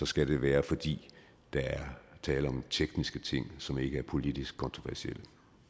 skal det være fordi der er tale om tekniske ting som ikke er politisk kontroversielle